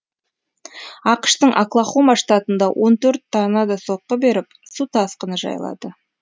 ақш тың оклахома штатында он төрт торнадо соққы беріп су тасқыны жайлады